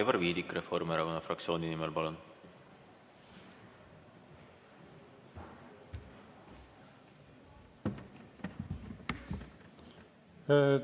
Aivar Viidik Reformierakonna fraktsiooni nimel, palun!